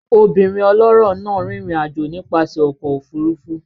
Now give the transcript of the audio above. Obìnrin ọlọ́rọ̀ náà rìnrìn àjò nípasẹ̀ ọkọ̀ òfurufú